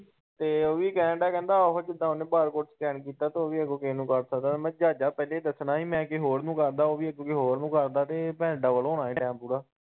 ਤੇ ਉਹ ਵੀ ਕਹਿਣ ਦਿਆ ਉਹੋ ਜਿੱਦਾ ਉਹਨੇ bar code Scan ਕੀਤਾ ਤੇ ਉਹ ਵੀ ਅੱਗੋਂ ਕਿਸੇ ਨੂੰ ਕਰ ਸਕਦਾ, ਮੈੰ ਕਿਹਾ ਜਹਾਜ਼ਾਂ ਪਹਿਲੇ ਦੱਸਣਾ ਸੀ, ‌ ਮੈਂ ਕਿਸੇ ਹੋਰ ਨੂੰ ਕਰਦਾ ਉਹ ਵੀ ਅੱਗੋ ਕਿਸੇ ਹੋਰ ਨੂੰ ਕਰਦਾ ਤੇ double ਹੋਣਾ ਸੀ time ਪੂਰਾ‌।